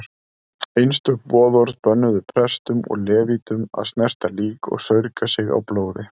Einstök boðorð bönnuðu prestum og levítum að snerta lík og saurga sig á blóði.